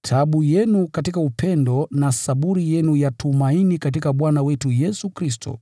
taabu yenu katika upendo na saburi yenu ya tumaini katika Bwana wetu Yesu Kristo.